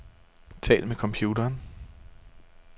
Tal med computeren.